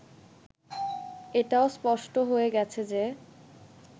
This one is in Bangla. এটাও স্পষ্ট হয়ে গেছে যে